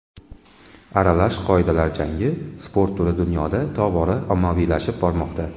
Aralash qoidalar jangi sport turi dunyoda tobora ommaviylashib bormoqda.